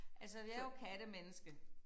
Altså jeg jo kattemenneske